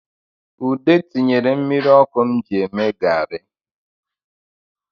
Ude tinyere mmiri ọkụ m ji eme gari